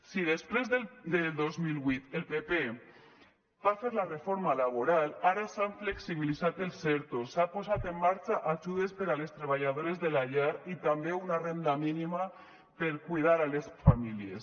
si després del dos mil vuit el pp va fer la reforma laboral ara s’han flexibilitat els ertos s’han posat en marxa ajudes per a les treballadores de la llar i també una renda mínima per a cuidar a les famílies